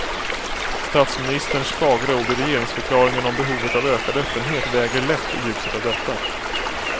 Statsministerns fagra ord i regeringsförklaringen om behovet av ökad öppenhet väger lätt i ljuset av detta.